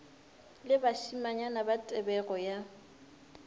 le bašimanyana ba tebego ya